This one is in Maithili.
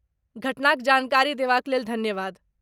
घटनाक जानकारी देबाक लेल धन्यवाद।